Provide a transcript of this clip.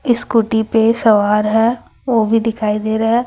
Scooty पे सवार है वो भी दिखाई दे रहा है।